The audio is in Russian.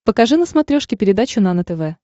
покажи на смотрешке передачу нано тв